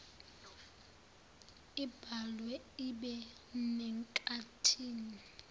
ibhalwe ibe senkathini